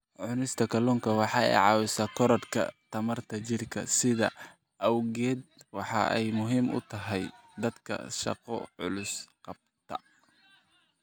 Cunista kalluunku waxa ay caawisaa korodhka tamarta jidhka, sidaas awgeed waxa ay muhiim u tahay dadka shaqo culus qabta.